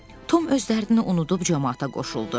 Tom öz dərdini unudub camaata qoşuldu.